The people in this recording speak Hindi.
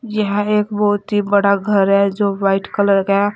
यह एक बहुत ही बड़ा घर है जो वाइट कलर का है।